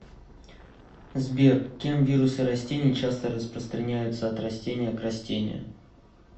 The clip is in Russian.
сбер кем вирусы растений часто распространяются от растения к растению